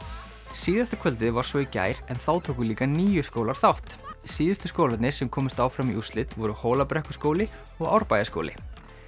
síðasta kvöldið var svo í gær en þá tóku líka níu skólar þátt síðustu skólarnir sem komust áfram í úrslit voru Hólabrekkuskóli og Árbæjarskóli